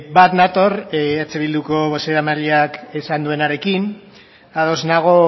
bat nator eh bilduko bozeramaileak esan duenarekin ados nago